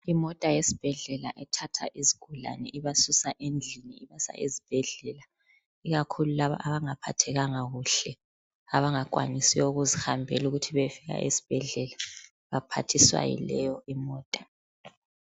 Imota yesibhedlela ethwala izigulane ibasusa endlini ibasa esibhedlela ikakhulu laba abangaphathekanga kuhle abanga kwanisiyo ukuzihambela ukuthi beyefika ezibhedlela baphathiswa yileyo imota.